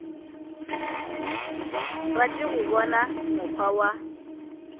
rate go bona mokgwa wa